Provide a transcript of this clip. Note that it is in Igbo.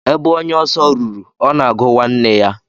Ebe onye oso ruru, ona agu nwanne ya.